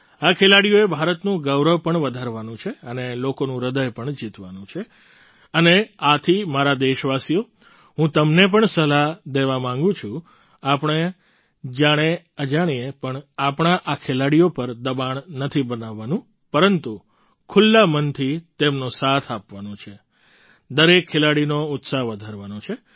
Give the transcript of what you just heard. આ ખેલાડીઓએ ભારતનું ગૌરવ પણ વધારવાનું છે અને લોકોનું હૃદય પણ જીતવાનું છે અને આથી મારા દેશવાસીઓ હું તમને પણ સલાહ દેવા માગું છું આપણે જાણેઅજાણ્યે પણ આપણા આ ખેલાડીઓ પર દબાણ નથી બનાવવાનું પરંતુ ખુલ્લા મનથી તેમનો સાથ આપવાનો છે દરેક ખેલાડીનો ઉત્સાહ વધારવાનો છે